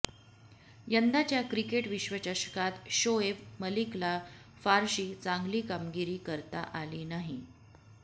यंदाच्या क्रिकेट विश्वचषकात शोएब मलिकला फारशी चांगली कामगिरी करता आली नाही